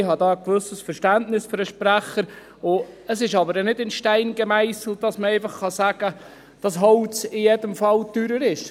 Ich habe da ein gewisses Verständnis für den Sprecher, aber es ist nicht in Stein gemeisselt, dass man einfach sagen kann, Holz sei in jedem Fall teurer.